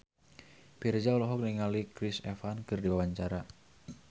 Virzha olohok ningali Chris Evans keur diwawancara